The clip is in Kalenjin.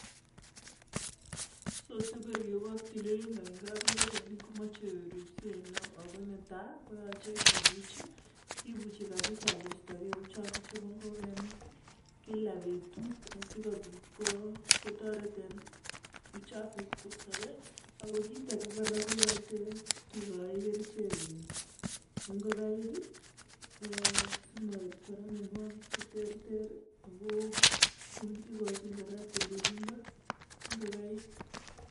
so sikoribok tililindo eng kabngok koyache kibuch si koistakei uchafu che mi kabngok kila betut asi kobit ko toret eng uchafu asi koistagei ako kitage korakoyachei ketoret eng kerichek asimoib myanwagik che terter ako si kokachi tililindo eng ngokaik